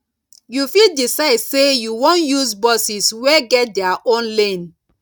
you fit decide sey you wan use buses wey get their own lane